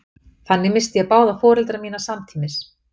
þannig missti ég báða foreldra mína samtímis